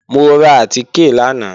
Mo ra àtìkè lánàá